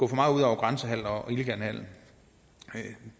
grænsehandel og til illegal handel